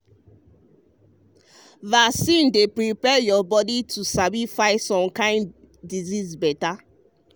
vaccine dey um prepare your body to sabi fight some kind disease better.